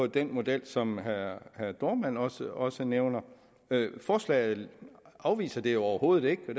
den model som herre jørn dohrmann også også nævner forslaget afviser det jo overhovedet ikke